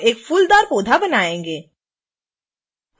हम एक फूलदार पौधा बनायेंगे